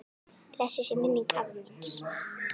Blessuð sé minning afa míns.